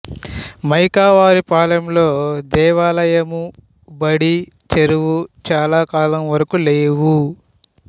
మేకావారిపాలెంలో దేవాలయము బడి చెరువు చాల కాలం వరకు లేవు